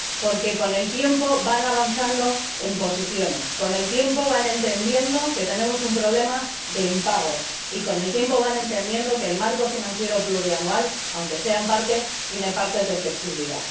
Porque con el tiempo van avanzando en posiciones, con el tiempo van entendiendo que tenemos un problema de impagos, y con el tiempo van entendiendo que el marco financiero plurianual, aunque sea parcialmente, tiene partes de flexibilidad.